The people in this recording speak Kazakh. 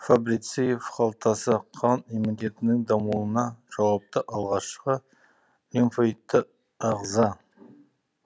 фабрициев қалтасы қан иммунитетінің дамуына жауапты алғашқы лимфоидты ағза